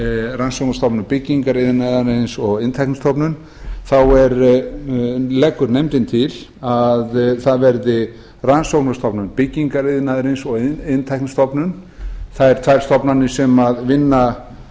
rannsóknastofnun byggingariðnaðarins og iðntæknistofnun þá leggur nefndin til að það verði rannsóknastofnun byggingariðnaðarins og iðntæknistofnun þær tvær stofnanir sem vinna